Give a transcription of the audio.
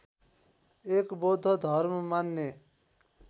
एक बौद्ध धर्म मान्ने